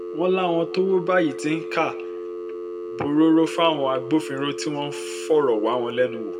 wọ́n láwọn tọ́wọ́ bá yìí ti ń ká borọ́rọ́ fáwọn agbófinró tí wọ́n ń fọ̀rọ̀ wá wọn lẹ́nu wò